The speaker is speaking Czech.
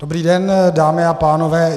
Dobrý den dámy a pánové.